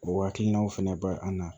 O hakilinaw fɛnɛ ba an na